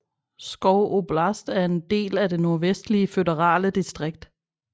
Pskov oblast er en del af det Nordvestlige føderale distrikt